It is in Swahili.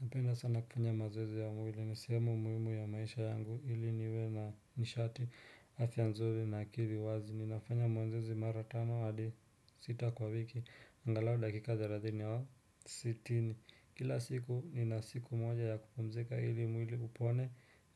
Napenda sana kufanya mazoezi ya mwili. Ni sihemu muhimu ya maisha yangu ili niwe na nishati, afia nzuri na akili wazi. Ninafanya mazoezi mara tano hadi sita kwa wiki. Angalau dakika 30 au 60. Kila siku nina siku moja ya kupumzika ili mwili upone